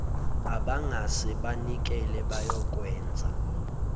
abangase banikele bayokwenza